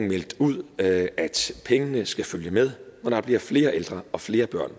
meldt ud at pengene skal følge med når der bliver flere ældre og flere børn